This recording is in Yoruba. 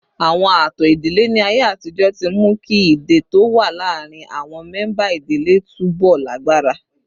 Àwọn ààtò ìdílé ní ayé àtijọ́ ti mú kí ìdè tó wà láàárín àwọn mẹ́ńbà ìdílé túbọ̀ lágbára